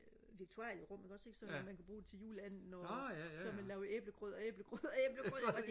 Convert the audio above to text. viktualierum ikke også ikke så man kan bruge det til juleanden og så man lave æblegrød og æblegrød og æblegrød